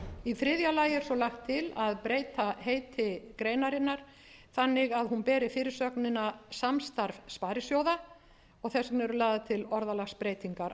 í þriðja lagi er svo lagt til að breyta heiti greinarinnar þannig að hún beri fyrirsögnina samstarf sparisjóða og þess vegna eru lagðar til orðalagsbreytingar